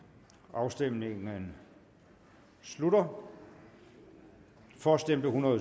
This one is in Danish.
afstemningen slutter for stemte